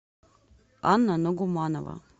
анна нагуманова